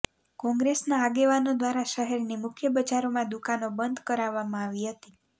કોંગ્રેસના આગેવાનો દ્વારા શહેરની મુખ્ય બજારોમાં દુકાનો બંધ કરાવવામાં આવી હતી